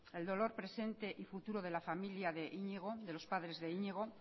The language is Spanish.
el dolor presente y futuro de la familia de iñigo de los padres de iñigo